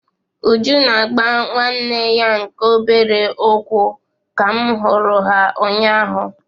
Uju na-agba nwanne ya nke obere ụkwụ ka m hụrụ ha ụnyaahụ.